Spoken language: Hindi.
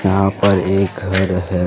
यहां पर एक घर है।